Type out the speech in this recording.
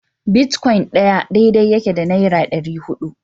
Bitcoin ɗaya daidai yake da naira ɗari hudu